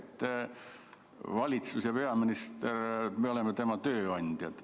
Meie oleme valitsuse ja peaministri tööandjad.